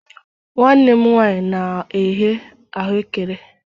Nwanne m nwanyi na-eghe ahụekere